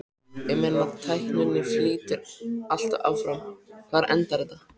Ég meina tækninni flýtur alltaf áfram, hvar endar þetta?